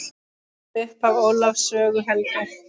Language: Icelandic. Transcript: Upphaf Ólafs sögu helga.